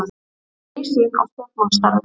Ný sýn á stjórnmálastarfið